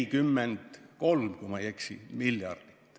43 miljardit, kui ma ei eksi.